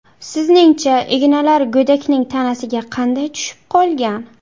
Sizningcha, ignalar go‘dakning tanasiga qanday tushib qolgan?